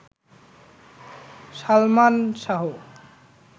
Salman Shah